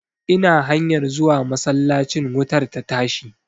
Ina hanyar zuwa masallacin wutar ta tashi.